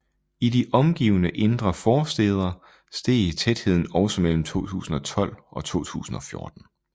I de omgivende indre forstæder steg tætheden også mellem 2012 og 2014